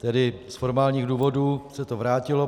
Tedy z formálních důvodů se to vrátilo.